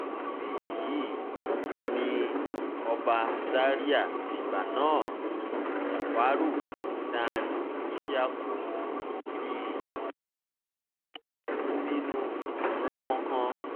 níbí yìí ni ọba zaria ìgbà náà jáfàárù dan isi yaku ti bínú rangbonkan